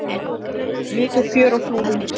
Mikið fjör á Flúðum